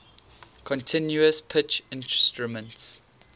continuous pitch instruments